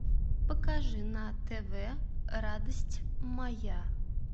покажи на тв радость моя